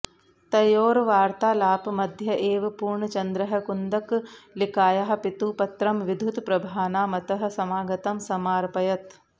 तयोर्वार्तालापमध्य एव पूर्णचन्द्रः कुन्दकलिकायाः पितुः पत्रं विद्युत्प्रभानामतः समागतं समार्पयत्